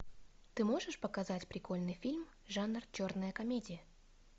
ты можешь показать прикольный фильм жанр черная комедия